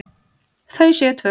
Þau séu tvö.